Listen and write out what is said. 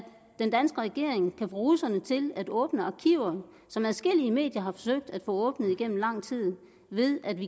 den danske regering kan få russerne til at åbne arkiver som adskillige medier har forsøgt at få åbnet igennem lang tid ved at vi